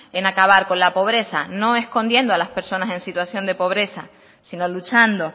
en acabar con la pobreza no escondiendo a las personas en situación de pobreza sino luchando